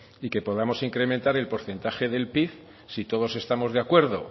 y que podamos incrementar el porcentaje del pib si todos estamos de acuerdo